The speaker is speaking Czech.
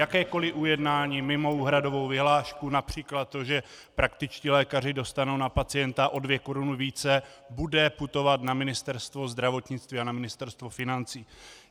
Jakékoliv ujednání mimo úhradovou vyhlášku, například to, že praktičtí lékaři dostanou na pacienta o 2 koruny více, bude putovat na Ministerstvo zdravotnictví a na Ministerstvo financí.